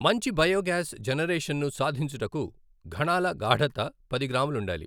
మంచి biogas generation ను సాధించుటకు ఘణాల గాఢత పది గ్రాములు ఉండాలి.